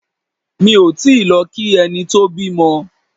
Mi ò tíì lọ kí ẹni tó bímọ.